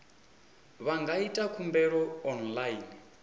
vha nga ita khumbelo online